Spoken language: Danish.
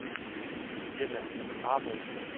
Birthe Ahmed